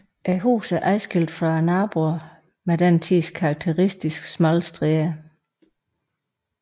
Huset er adskilt fra naboerne med den tids karakteristiske smalle stræder